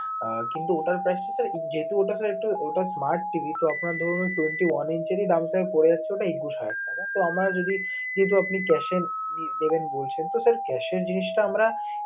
আহ কিন্তু ওটার price টা তো ওটা sir একটু ওটা smart TV তো আপনার ধরুন twenty one inch এর ই দামটা পড়ে যাচ্ছে একুশ হাজার টাকা. তো আমরা যদি যেহেতু আপনি cash এ নিবেন বলছেন, তো sir cash এর জিনিসটা আমরা